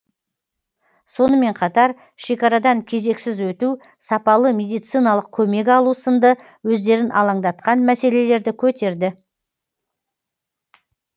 сонымен қатар шекарадан кезексіз өту сапалы медициналық көмек алу сынды өздерін алаңдатқан мәселелерді көтерді